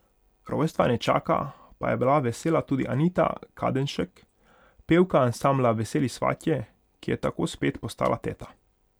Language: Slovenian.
Rojstva nečaka pa je bila vesela tudi Anita Kadenšek, pevka ansambla Veseli svatje, ki je tako spet postala teta.